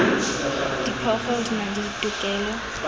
diphoofolo di na le ditokelo